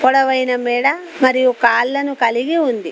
అందమైన మెడ మరియు కాళ్లను కలిగి ఉంది.